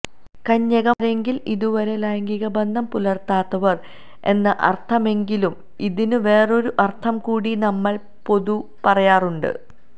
കന്യകമാരെങ്കില് ഇതുവരെ ലൈംഗികബന്ധം പുലര്ത്താത്തവര് എന്ന അര്ത്ഥമെങ്കിലും ഇതിന് വേറൊരു അര്ത്ഥം കൂടി നമ്മള് പൊതുേ പറയാറുണ്ട്